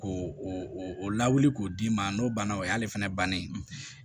Ko o lawuli k'o d'i ma n'o banna o y'ale fana bannen ye